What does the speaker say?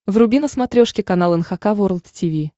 вруби на смотрешке канал эн эйч кей волд ти ви